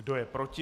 Kdo je proti?